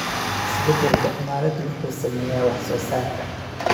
Isbeddelka cimiladu wuxuu saameeyaa wax soo saarka.